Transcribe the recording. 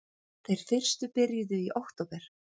Þeir fyrstu byrjuðu í október